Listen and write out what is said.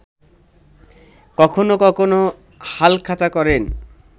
কখনো কখনো হালখাতা করেন